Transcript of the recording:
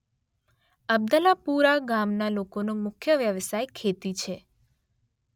અબ્દલાપુરા ગામના લોકોનો મુખ્ય વ્યવસાય ખેતી છે